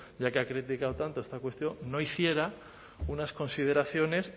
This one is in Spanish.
ya que ha criticado tanto esta cuestión no hiciera unas consideraciones